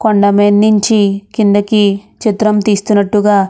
కొండమీద నుంచి కిందకి చిత్రం తీస్తున్నట్టుగా --